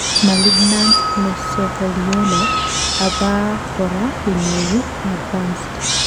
malignant mesothelioma abakora kenyoru koadvanced